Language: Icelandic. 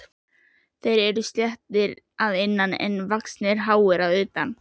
Þeir eru sléttir að innan en vaxnir hári að utan.